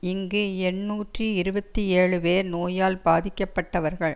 இங்கு எண்ணூற்றி இருபத்தி ஏழு பேர் நோயால் பாதிக்கப்பட்டவர்கள்